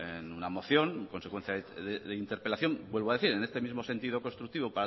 en una moción consecuencia de interpelación vuelvo a decir en este mismo sentido constructivo